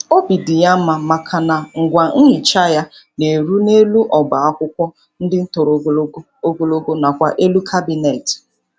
Obi dị ya mma maka na ngwa nhicha ya na-eru n'elu oba akwụkwọ ndị toro ogologo ogologo nakwa n'elu kabineti